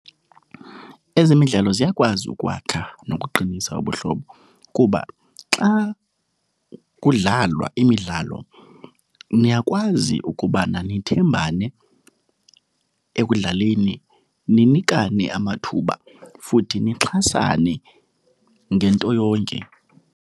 Ezemidlalo ziyakwazi ukwakha nokuqinisa ubuhlobo kuba xa kudlalwa imidlalo niyakwazi ukubana nithembane ekudlaleni, ninikane amathuba futhi nixhasane ngento yonke.